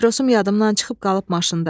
Patrosum yadımdan çıxıb qalıb maşında.